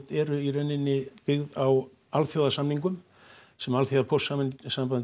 eru í rauninni byggð á alþjóðasamningum sem